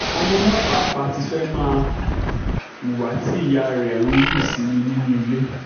ọmọ náà pàápàá ti fẹ́ẹ́ máa hùwà tí ìyá rẹ̀ ń hù sí mi nínú ilé